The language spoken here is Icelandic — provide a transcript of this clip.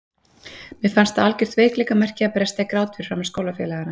Mér fannst það algjört veikleikamerki að bresta í grát fyrir framan skólafélagana.